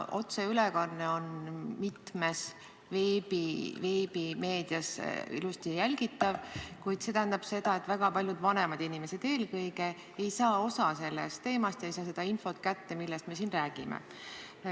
Otseülekanne on mitmes veebimeedia kanalis ilusti jälgitav, kuid see tähendab seda, et eelkõige väga paljud vanemad inimesed ei saa sellest teemast osa ega saa seda infot kätte, millest me siin räägime.